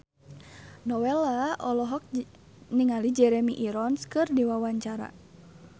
Nowela olohok ningali Jeremy Irons keur diwawancara